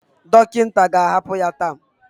Dọkịta ga-ahapụ ya taa